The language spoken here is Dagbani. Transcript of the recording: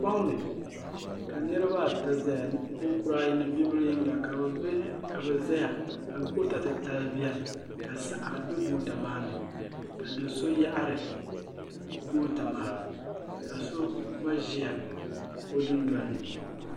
Foŋni ka niriba ata zaya niriba ayi ni bibila yiŋga ka bɛ zaya goota titali biɛni ka saɣari be goota maani ka do'so yaɣari goota maa ka so gba ʒia o dundolini.